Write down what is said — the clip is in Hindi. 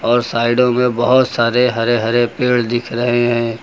और साइडों में बहुत सारे हरे हरे पेड़ दिख रहे हैं।